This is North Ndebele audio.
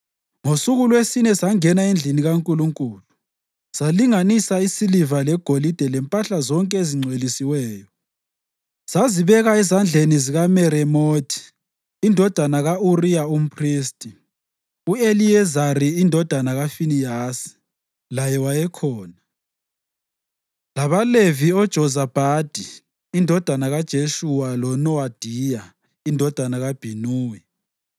Ngosuku lwesine sangena endlini kaNkulunkulu salinganisa isiliva legolide lempahla zonke ezingcwelisiweyo sazibeka ezandleni zikaMeremothi indodana ka-Uriya umphristi. U-Eliyezari indodana kaFinehasi laye wayekhona, labaLevi oJozabhadi indodana kaJeshuwa loNowadiya indodana kaBhinuwi.